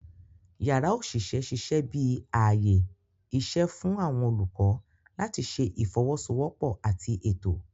Yàrá oṣiṣẹ ṣiṣẹ bi ààyè iṣẹ fún awọn olukọ làti ṣe ifowosowopo àti Ètò